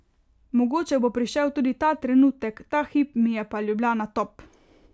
Mogoče bo prišel tudi ta trenutek, ta hip mi je pa Ljubljana top.